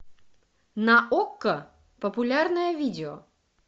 на окко популярное видео